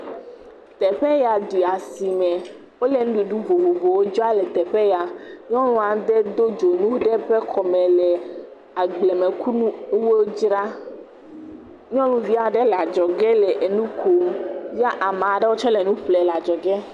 Teƒe ya ɖi asime. Wole nuɖuɖu vovovowo dzram le teƒe ya. Nyɔnu aɖe do dzonu ɖe eƒe kɔme le agblemenukuwo dzram. Nyɔnuvi aɖe le adzɔgɛ le nu kom ya ame aɖewo tsɛ le nu ƒlee le adzɔgɛ.